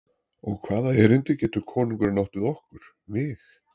Og hvaða erindi getur konungurinn átt við okkur, mig?